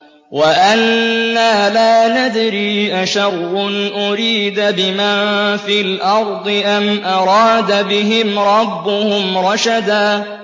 وَأَنَّا لَا نَدْرِي أَشَرٌّ أُرِيدَ بِمَن فِي الْأَرْضِ أَمْ أَرَادَ بِهِمْ رَبُّهُمْ رَشَدًا